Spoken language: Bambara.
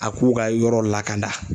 A k'u ka yɔrɔ lakana